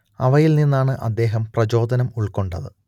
അവയിൽ നിന്നാണ് അദ്ദേഹം പ്രചോദനം ഉൾക്കൊണ്ടത്